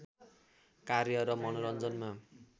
कार्य र मनोरञ्जनमा